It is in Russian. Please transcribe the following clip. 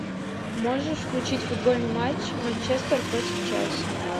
можешь включить футбольный матч манчестер против челси